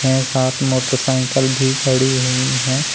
छः सात मोटरसाइकिल भी खड़ी हुई हैं।